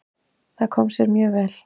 Það kom sér mjög vel.